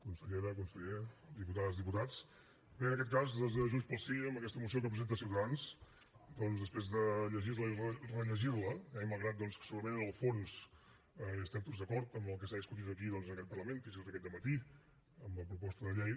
consellera conseller diputades diputats bé en aquest cas des de junts pel sí amb aquesta moció que presenta ciutadans després de llegir la i rellegir la eh i malgrat que segurament en el fons estem tots d’acord en el que s’ha discutit aquí en aquest parlament fins i tot aquest dematí amb la proposta de llei